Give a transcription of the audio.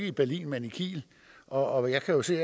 i berlin men i kiel og jeg kan se